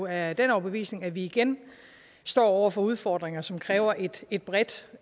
af den overbevisning at vi igen står over for udfordringer som kræver et et bredt